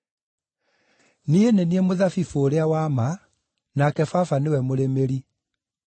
“Niĩ nĩ niĩ mũthabibũ ũrĩa wa ma nake Baba nĩwe mũrĩmĩri.